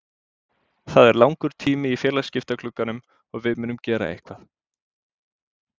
Það er langur tími í félagaskiptaglugganum og við munum gera eitthvað.